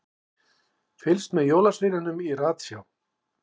Fylgst með jólasveininum í ratsjá